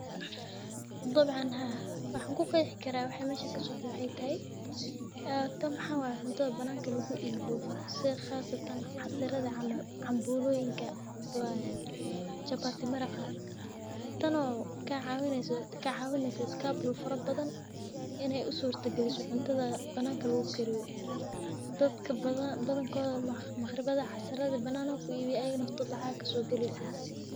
Dabcan haa waxan ku qeex karaa waxaa waye cuntoyinka banacka lagu ibiyo sitha qasatan cuntoyinka banaka lagu kariyo oo dadka iskabulaga wax utarto dadka ibinayina lacag ayey ka helayan.